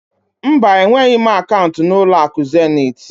Mba, enweghị m akaụnt na ụlọakụ Zenit.